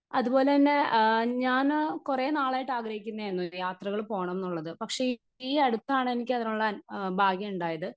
Speaker 1 അതുപോലെതന്നെ ആ ഞാന് കുറെ നാളായിട്ട് ആഗ്രഹിക്കുന്നതയിരുന്നു യാത്രകൾ പോണംന്നുള്ളത് പക്ഷേ ഈയടുത്താണ് എനിക്കതിനുള്ള ആഹ് ഭാഗ്യമുണ്ടായത്.